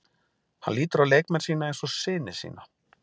Hann lítur á leikmenn sína eins og syni sína.